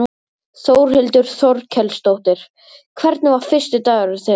Þórhildur Þorkelsdóttir: Hvernig var fyrsti dagurinn þinn?